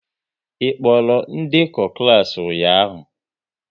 Ị kpọrọ ndekọ klas ụnyaahụ?